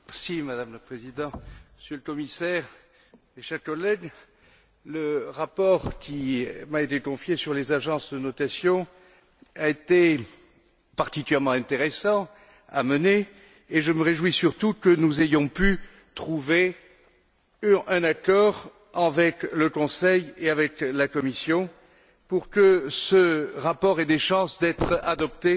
Madame la Présidente, Monsieur le Commissaire, mes chers collègues, le rapport qui m'a été confié sur les agences de notation a été particulièrement intéressant à mener, et je me réjouis surtout que nous ayons pu trouver un accord avec le Conseil et avec la Commission pour que ce rapport ait des chances d'être adopté